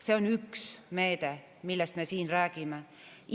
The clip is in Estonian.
See on üks meede, millest me siin räägime.